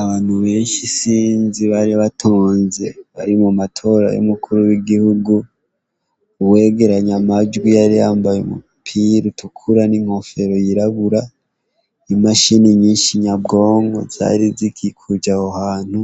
Abantu benshi isinzi bari batonze bari mu matora y'umuku w'igihugu, uwegeranya amajwi yari yambaye umupira utukura n'inkofero yirabura, imashini nyinshi nyabwonko zari zikikuje aho hantu,